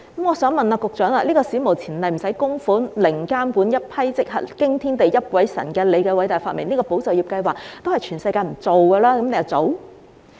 我想問局長，"保就業"計劃史無前例、無須供款、零監管、即時批核，驚天地，泣鬼神，是他的偉大發明，全世界也不會做，為何他又做？